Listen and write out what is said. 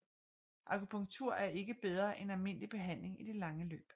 Akupunktur er ikke bedre end almindelig behandling i det lange løb